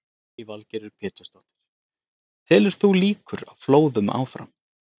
Lillý Valgerður Pétursdóttir: Telur þú líkur á flóðum áfram?